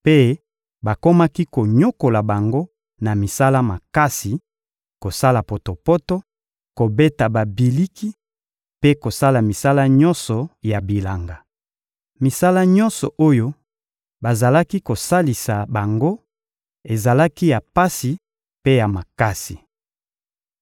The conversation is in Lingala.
mpe bakomaki konyokola bango na misala makasi: kosala potopoto, kobeta babiliki mpe kosala misala nyonso ya bilanga. Misala nyonso oyo bazalaki kosalisa bango ezalaki ya pasi mpe ya makasi.